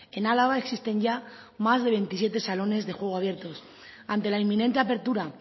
en álava existen ya más de veintisiete salones de juego abiertos ante la inminente apertura